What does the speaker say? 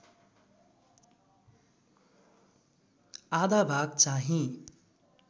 आधा भाग चाहिँ